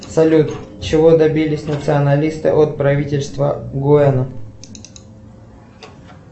салют чего добились националисты от правительства гуэна